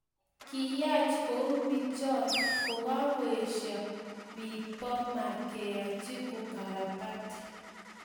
Kiyaach kouu pichot ko kakoesiaa bi pommer keachii ukarabati